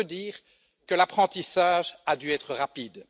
C'est peu dire que l'apprentissage a dû être rapide.